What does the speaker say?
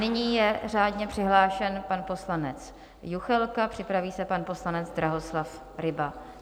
Nyní je řádně přihlášen pan poslanec Juchelka, připraví se pan poslanec Drahoslav Ryba.